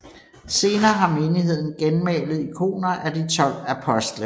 Senere har menigheden genmalet ikoner af de 12 apostle